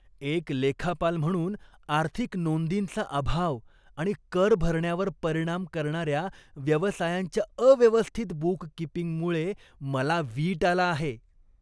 एक लेखापाल म्हणून, आर्थिक नोंदींचा अभाव आणि कर भरण्यावर परिणाम करणाऱ्या व्यवसायांच्या अव्यवस्थित बूककीपिंगमुळे मला वीट आला आहे.